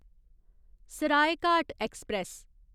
Saraighat express